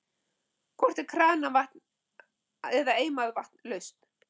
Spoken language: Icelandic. Hvort er kranavatn eða eimað vatn lausn?